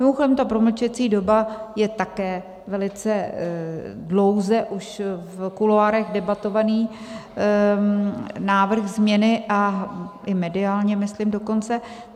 Mimochodem ta promlčecí doba je také velice dlouze už v kuloárech debatovaný návrh změny, a i mediálně myslím dokonce.